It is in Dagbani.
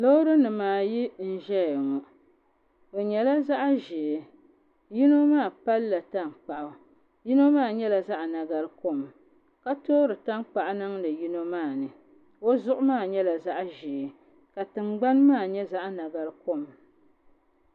Loori nim ayi n ʒɛya ŋo bi nyɛla zaɣ ʒiɛ yino maa palla tankpaɣu yino maa nyɛla zaɣ nagari kom ka toori tankpaɣu niŋdi yino maa ni o zuɣu maa nyɛla zaɣ ʒiɛ ka tingbani maa nyɛ zaɣ nagari kom